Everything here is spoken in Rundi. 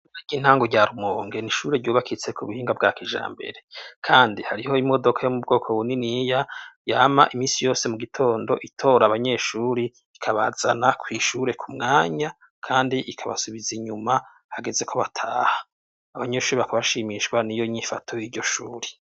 Aka intangu rya rumonge ne ishuri ryubakitse ku buhinga bwa kija mbere, kandi hariho imodoka yo mu bwoko buniniya yama imisi yose mu gitondo itora abanyeshuri ikabazana kwishure ku mwanya, kandi ikabasubiza inyuma hageze ko bataha abanyeshuri bakabashimishwa ni yo nyifato y'iryo shuri.